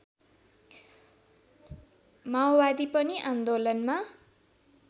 माओवादी पनि आन्दोलनमा